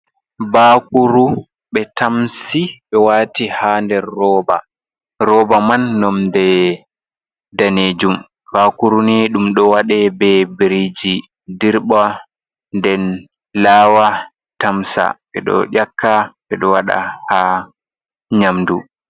Bakuru be tamsi be wati ha der rooba. Rooba man nomde danejum. Bakuru ni ɗum ɗo waɗa be biriji dirba nden laawa, tamsa. Ɓedo ƴaka ɓe ɗo wada ha nyamdu.